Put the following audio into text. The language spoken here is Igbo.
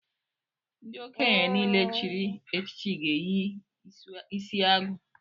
Ndị okenye niile chịrị echichi ga-eyi isiagu